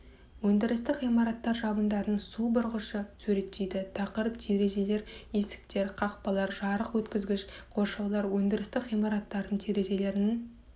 өндірістік ғимараттар жабындарының су бұрғышын суреттейді тақырып терезелер есіктер қақпалар жарық өткізгіш қоршаулар өндірістік ғимараттардың терезелерінің